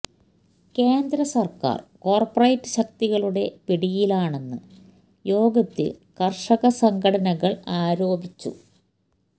കേന്ദ്ര സർക്കാർ കോർപ്പറേറ്റ് ശക്തികളുടെ പിടിയിലാണെന്ന് യോഗത്തിൽ കർഷക സംഘടനകൾ ആരോപിച്ചു